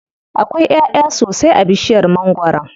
Akwai ƴaʼya sosai a bishiyar mangwaron.